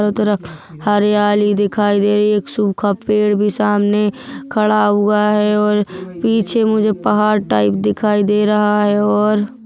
चारों तरफ हरियाली दिखाई दे एक सूखा पेड़ भी सामने खड़ा हुआ हैऔर पीछे मुझे पहाड़ टाइप दिखाई दे रहा है और--